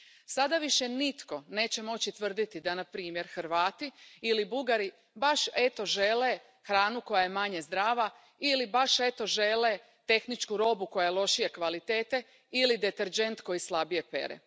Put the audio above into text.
Sada više nitko neće moći tvrditi da na primjer Hrvati ili Bugari baš, eto, žele hranu koja je manje zdrava, ili baš žele tehničku robu koja je lošije kvalitete ili deterdžent koji slabije pere.